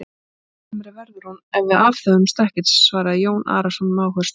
Og kalsamari verður hún ef við aðhöfumst ekkert, svaraði Jón Arason með áherslu.